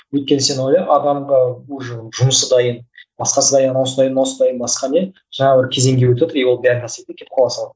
өйткен сен ойла адамға уже жұмысы дайын басқасы дайын анауысы дайын мынауысы дайын басқа не жаңа бір кезеңге өтеді и ол бар нәрседен кетіп қала салады